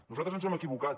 nosaltres ens hem equivocat